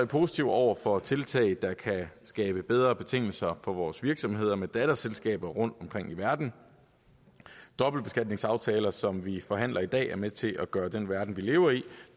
positive over for tiltag der kan skabe bedre betingelser for vores virksomheder med datterselskaber rundtomkring i verden dobbeltbeskatningsaftaler som vi behandler i dag er med til at gøre den verden vi lever i